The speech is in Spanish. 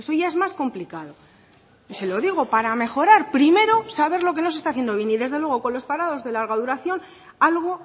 ya es más complicado y se lo digo para mejorar primero saber lo que no se está haciendo bien y desde luego con los parados de larga duración algo